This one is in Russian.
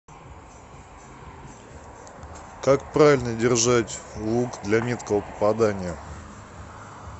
как правильно держать лук для меткого попадания